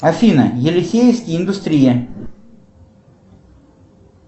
афина елисейский индустрия